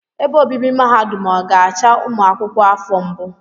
Ebe obibi mahadum ọ ga-acha ụmụ akwụkwọ afọ mbụ?